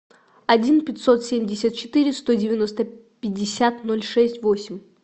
один пятьсот семьдесят четыре сто девяносто пятьдесят ноль шесть восемь